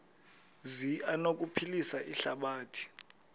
zi anokuphilisa ihlabathi